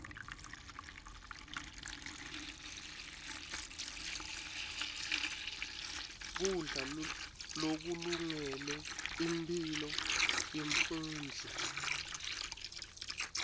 kudla lokulungele imphilo yemfundzi